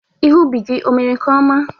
Ihe ubi gị emere nke ọma?